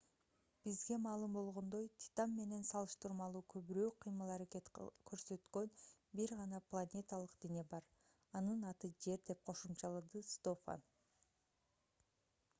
бизге маалым болгондой титан менен салыштырмалуу көбүрөөк кыймыл-аракет көрсөткөн бир гана планеталык дене бар анын аты жер - деп кошумчалады стофан